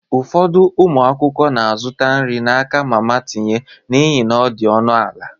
Ụfọdụ ụmụ akwụkwọ na-azụta nri n'aka mama tinye n'ihi na ọ dị ọnụ ala.